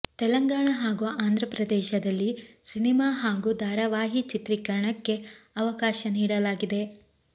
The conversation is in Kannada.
ತೆಲಂಗಾಣ ಹಾಗೂ ಆಂಧ್ರಪ್ರದೇಶದಲ್ಲಿ ಸಿನಿಮಾ ಹಾಗೂ ಧಾರವಾಹಿ ಚಿತ್ರೀಕರಣಕ್ಕೆ ಅವಕಾಶ ನೀಡಲಾಗಿದೆ